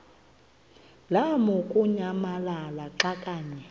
lamukunyamalala xa kanye